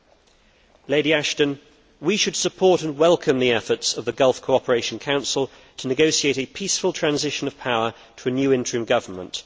Baroness Ashton, we should support and welcome the efforts of the Gulf Cooperation Council to negotiate a peaceful transition of power to a new interim government.